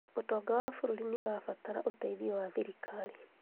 ũtonga wa bũrũri nĩũrabatara ũteithio wa thirikari